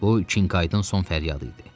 Bu Qinkaytın son fəryadı idi.